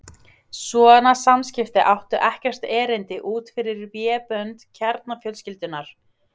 Svona samskipti áttu ekkert erindi út fyrir vébönd kjarnafjölskyldunnar.